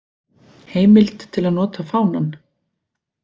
Heimild til að nota fánann.